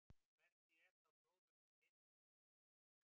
Hvernig er þá gróðurinn á litinn?